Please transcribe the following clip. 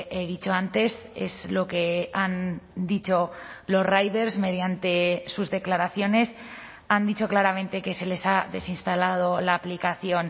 he dicho antes es lo que han dicho los riders mediante sus declaraciones han dicho claramente que se les ha desinstalado la aplicación